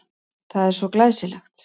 Það er svo glæsilegt.